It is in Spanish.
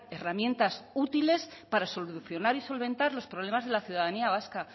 herramientas útiles para solucionar y solventar los problemas de la ciudadanía vasca